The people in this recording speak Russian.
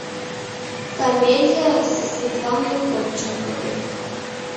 комедия со светланой ходченковой